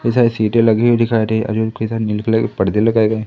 कई सारी सीटे लगी हुई दिखाई दे और कई सारे नीले कलर की पर्दें लगायें गए--